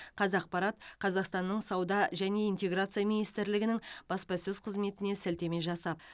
қазақпарат қазақстанның сауда және интеграция министрлігінің бапасөз қызметіне сілтеме жасап